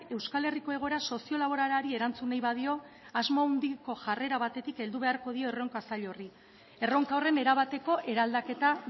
euskal herriko egoera sozio laboralari erantzun nahi badio asmo handiko jarrera batetik heldu beharko dio erronka zail horri erronka horren erabateko eraldaketa